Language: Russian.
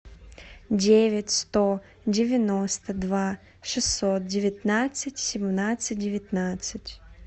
девять сто девяносто два шестьсот девятнадцать семнадцать девятнадцать